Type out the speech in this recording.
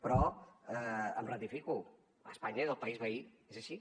però m’hi ratifico espanya és el país veí és així